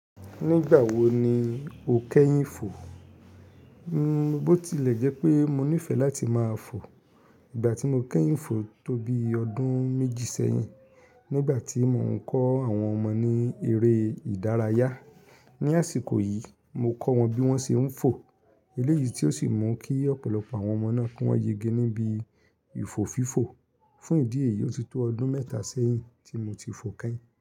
Nígbà wo ni o kẹ́yìn fò? N bọ́ tilẹ̀ jẹ́ pé mo nífẹ̀ẹ́ láti máa fò. Ìgbà tí mo kẹ́yìn fò tóbi ọdún méjì sẹ́yìn nígbà tí mò ń kọ́ àwọn ọmọ ní eré ìdárayá. Ni àsìkò yìí, mo kọ́ wọn bí wọ́n ṣe ń fò. Eléyìí tí ó sì mú kí ọ̀pọ̀lọpọ̀ àwọn ọmọ náà ki wọ́n yege níbi ìfò fífò. Fún ìdí èyí, ó ti tó ọdún mẹ́ta sẹ́yìn tí mo ti fò kẹ́yìn.